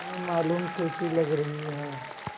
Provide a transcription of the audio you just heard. न मालूम कैसी लग रही हैं